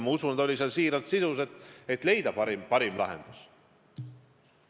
Ma usun, et ta oli siiras, püüdes leida parimat lahendust.